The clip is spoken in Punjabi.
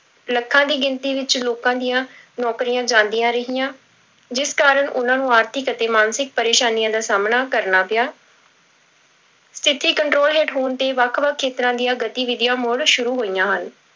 ਲੱਖਾਂ ਦੀ ਗਿਣਤੀ ਵਿੱਚ ਲੋਕਾਂ ਦੀਆਂ ਨੌਕਰੀਆਂ ਜਾਂਦੀਆਂ ਰਹੀਆਂ, ਜਿਸ ਕਾਰਨ ਉਹਨਾਂ ਨੂੰ ਆਰਥਿਕ ਅਤੇ ਮਾਨਸਿਕ ਪਰੇਸਾਨੀਆਂ ਦਾ ਸਾਹਮਣਾ ਕਰਨਾ ਪਿਆ ਸਥਿੱਤੀ control ਹੇਠ ਹੋਣ ਤੇ ਵੱਖ ਵੱਖ ਖੇਤਰਾਂ ਦੀਆਂ ਗਤੀਵਿਧੀਆਂ ਮੁੜ ਸ਼ੁਰੂ ਹੋਈਆਂ ਹਨ।